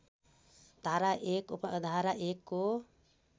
धारा १ उपधारा १ को